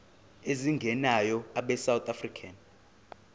ezingenayo abesouth african